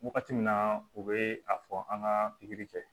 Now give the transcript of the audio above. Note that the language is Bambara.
Wagati min na u bɛ a fɔ an ka pikiri kɛ